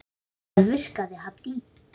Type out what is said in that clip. Það virkaði Haddý.